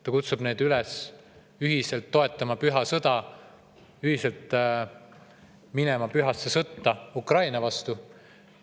Ta kutsub neid üles ühiselt toetama püha sõda, ühiselt minema pühasse sõtta Ukraina vastu.